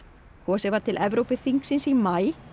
kosið var til Evrópuþingsins í maí